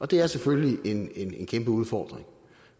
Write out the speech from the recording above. det er selvfølgelig en kæmpe udfordring